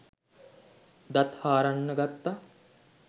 දත් හාරන්න ගත්තා.